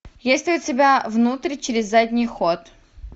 есть ли у тебя внутрь через задний ход